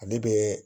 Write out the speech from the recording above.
Ale bɛ